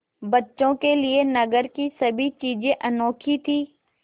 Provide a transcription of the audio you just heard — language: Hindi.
बच्चों के लिए नगर की सभी चीज़ें अनोखी थीं